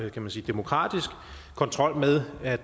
kan man sige demokratisk kontrol med at